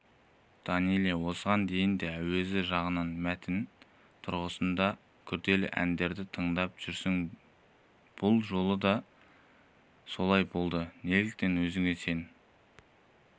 данэлия осыған дейін де әуезі жағынан мәтіні тұрғысынан да күрделі әндерді таңдап жүрсің бұл жолы да солай болды неліктен өзіңе сен